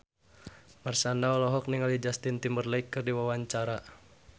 Marshanda olohok ningali Justin Timberlake keur diwawancara